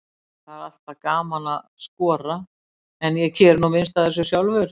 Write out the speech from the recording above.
Það er alltaf gaman að skora, en ég geri nú minnst af þessu sjálfur.